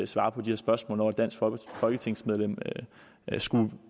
svare på de her spørgsmål når et dansk folketingsmedlem skulle